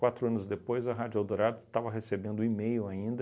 Quatro anos depois, a Rádio Eldorado estava recebendo um e-mail ainda